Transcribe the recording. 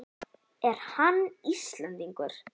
Er hann Íslendingur?